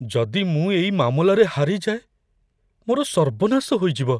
ଯଦି ମୁଁ ଏଇ ମାମଲାରେ ହାରିଯାଏ, ମୋର ସର୍ବନାଶ ହୋଇଯିବ।